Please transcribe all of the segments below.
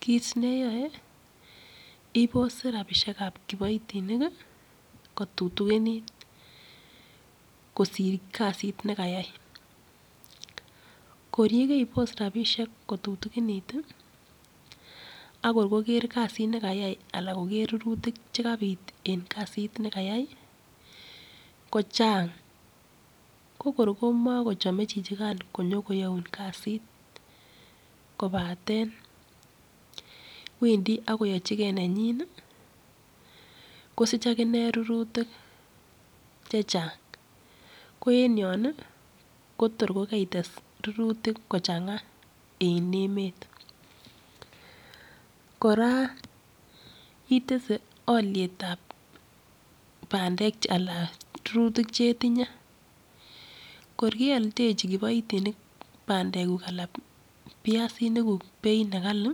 Kit neyoe ibose rapishek ab kiboitinik kotutunikitu, kisir kasit nekayai. Kor nekebos rapishek kotutinekitu, akor kkger kasit nekayai anan koker rurutik chekanyir en kasit nekayai kichang.ko kor komakomachei chichikan kinyokoyaun kasit wendi ak koyachigei nenyi akosich akine rurutik chechang. Ki en yin ko tor ko kaites rurutik kochang'a en emet. Kira itese akystab pandek ala rurutik chetinye, kir kealdechi kiboitinik pandeguk anan viasinik beit ne kali,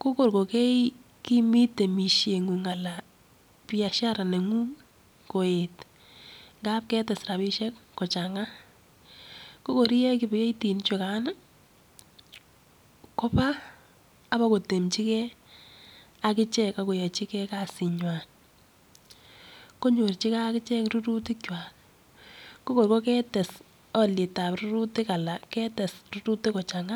ko kor kokemi temisheng'ung ana biashara neng'ung ngap ketes beit kochanga ko koi kowek kiboitinichukan koba kotemichikei ak ichek kasingwai. Konyirchivei akichek rurutik chwai. Ko koi ketes alietab rurutik ala ketes rurutik kukkochanga.